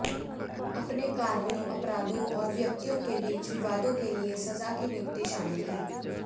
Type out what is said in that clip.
अपने कार्यों अपराधों और व्यक्तियों के बीच विवादों के लिए सजा की नियुक्ति शामिल है